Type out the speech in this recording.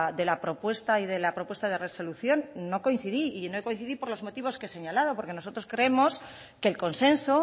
de la propuesta y de la propuesta de resolución no coincidí y no coincidí por los motivos que he señalado porque nosotros creemos que el consenso